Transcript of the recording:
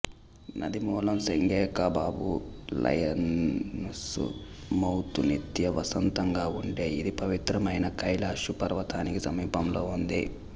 నది మూలం Senge Khabab lion's mouth నిత్య వసంతంగా ఉండే ఇది పవిత్రమైన కైలాషు పర్వతానికి సమీపంలో ఉంది